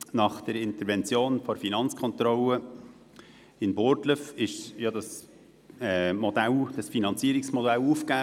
Nach der Intervention der Finanzkontrolle in Burgdorf wurde dieses Finanzierungsmodell aufgegeben.